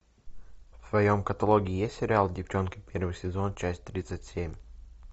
в твоем каталоге есть сериал девчонки первый сезон часть тридцать семь